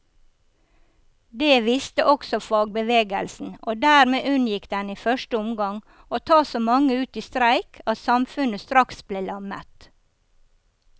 Det visste også fagbevegelsen, og dermed unngikk den i første omgang å ta så mange ut i streik at samfunnet straks ble lammet.